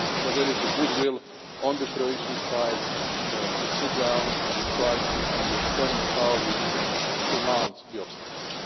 into that. But there is goodwill on the Croatian side to sit down and try to understand how we can surmount the